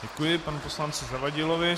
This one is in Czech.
Děkuji panu poslanci Zavadilovi.